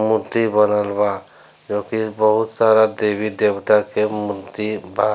मूर्ति बनल बा जो की बहुत सारा देवी-देवता के मुर्ति बा।